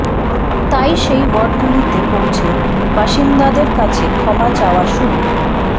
তাই সেই ওয়ার্ডগুলিতে পৌঁছে বাসিন্দাদের কাছে ক্ষমা চাওয়া শুরু